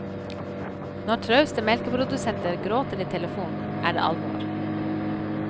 Når trauste melkeprodusenter gråter i telefonen, er det alvor.